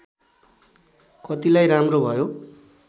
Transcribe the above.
कतिलाई राम्रो भयो